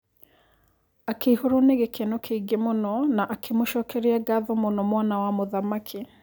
Akĩihũrwo nĩ gĩkeno kĩingĩ mũno na akĩmũcokeria ngatho mũno mwana wa mũthamaki.